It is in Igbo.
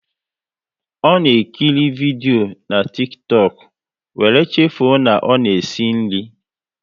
Ọ na ekiri vidio na Tiktọk, wéré chefuo na ọ na-esi nri